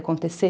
Acontecer.